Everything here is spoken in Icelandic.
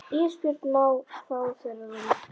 Ísbjörg má fá þeirra rúm.